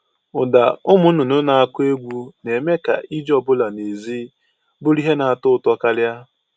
Ụda ụmụ nnụnụ na-akụ egwu na-eme ka ije ọ bụla n'èzí bụrụ ihe na-atọ ụtọ karịa